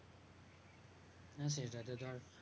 হ্যাঁ সেটা তে ধর